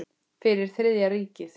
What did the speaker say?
Fyrir Þriðja ríkið.